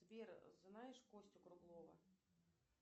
сбер знаешь костю круглова